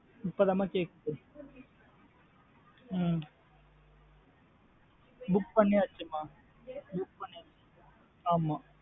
இப்ப தான் மா கேக்குது உம் book பண்ணியாச்சு மா book பண்ணியாச்சு ஆமா.